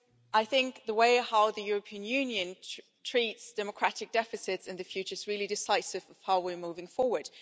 I think the way in which the European Union treats democratic deficits in the future is really decisive of how we're moving forward.